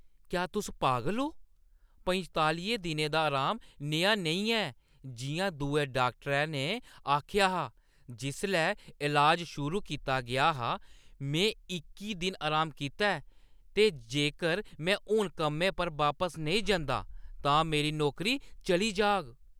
क्या तुस पागल ओ? पंतालियें दिनें दा अराम नेहा नेईं ऐ जिʼयां दुए डाक्टरै ने आखेआ हा जिसलै इलाज शुरू कीता गेआ हा। में इक्की दिन अराम कीता ऐ ते जेकर में हून कम्मै पर बापस नेईं जंदा तां मेरी नौकरी चली जाह्‌ग।